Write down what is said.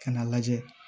Ka n'a lajɛ